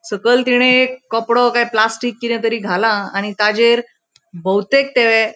सकयल तिने एक कपड़ो काय प्लास्टिक किते तरी घाला आणि ताचेर बहुतेक ते --